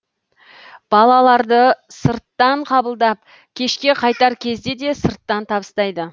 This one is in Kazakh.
балаларды сырттан қабылдап кешке қайтар кезде де сырттан табыстайды